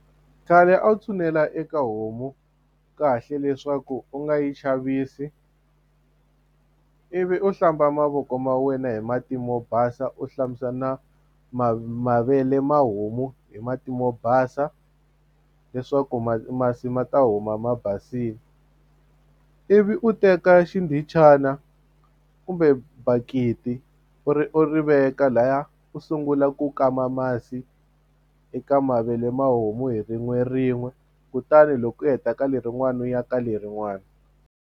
Khale a wu tshunela eka homu kahle leswaku u nga yi chavisi ivi u hlamba mavoko ma wena hi mati mo basa u hlambisa na mavele ma homu hi mati mo basa leswaku masi ma ta huma ma basile ivi u teka xindhichana kumbe bakiti u ri u ri veka lahaya u sungula ku kama masi eka mavele mahomu hi rin'werin'we kutani loko u heta ka lerin'wani u ya ka lerin'wani.